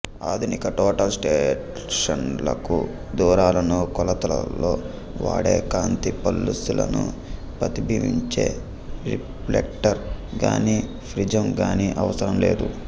ఆధునిక టోటల్ స్టేషన్లకు దూరాలను కొలతల్లో వాడే కాంతి పల్సులను ప్రతిబింబించే రిఫ్లెక్టర్ గానీ ప్రిజం గానీ అవసరం లేదు